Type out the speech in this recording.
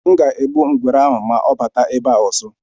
M ga-egbu ngwere ahụ ma ọ batakwa ebe a ọzọ.